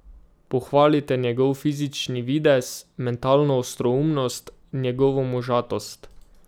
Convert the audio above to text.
Pohvalite njegov fizični videz, mentalno ostroumnost, njegovo možatost ...